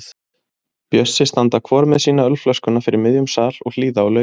Bjössi standa hvor með sína ölflöskuna fyrir miðjum sal og hlýða á lögin.